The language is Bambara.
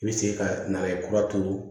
I bɛ se ka na ye kura turu